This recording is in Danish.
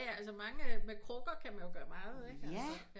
Jaja altså mange med krukker kan man gøre meget ikke